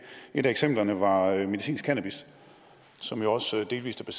et af eksemplerne var medicinsk cannabis som jo også delvis er